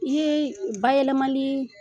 I ye u bayɛlɛmali